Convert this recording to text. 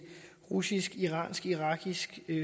russisk iransk irakisk